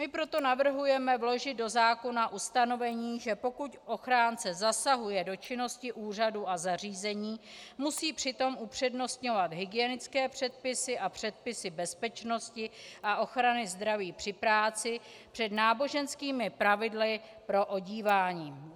My proto navrhujeme vložit do zákona ustanovení, že pokud ochránce zasahuje do činnosti úřadů a zařízení, musí přitom upřednostňovat hygienické předpisy a předpisy bezpečnosti a ochrany zdraví při práci před náboženskými pravidly pro odívání.